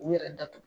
U yɛrɛ datugu